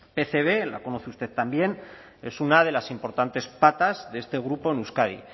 pcb la conoce usted también es una de las importantes patas de este grupo en euskadi